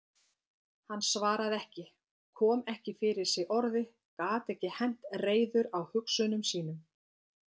Hann svaraði ekki, kom ekki fyrir sig orði, gat ekki hent reiður á hugsunum sínum.